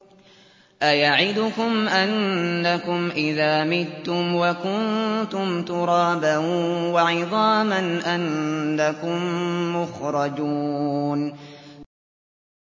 أَيَعِدُكُمْ أَنَّكُمْ إِذَا مِتُّمْ وَكُنتُمْ تُرَابًا وَعِظَامًا أَنَّكُم مُّخْرَجُونَ